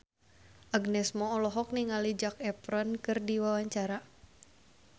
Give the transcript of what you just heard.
Agnes Mo olohok ningali Zac Efron keur diwawancara